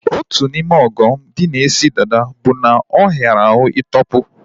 Otu n'ime ọghọm dị na isi dada bụ na ọ hiara ahụ ị tọpu